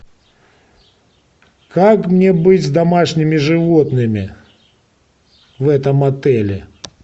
как мне быть с домашними животными в этом отеле